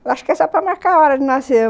Eu acho que é só para marcar a hora de nascer.